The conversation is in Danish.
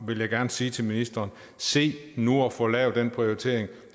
vil jeg gerne sige til ministeren se nu at få lavet den prioritering